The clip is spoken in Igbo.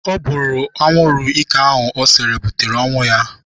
Ọ bụrụ anwụrụ ike ahụ ọ sere butere ọnwụ ya.